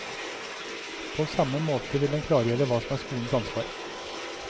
På samme måte vil den klargjøre hva som er skolens ansvar.